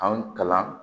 Anw kalan